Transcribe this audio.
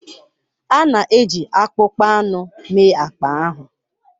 A na-eji akpụkpọ anụ mee akpa ahụ.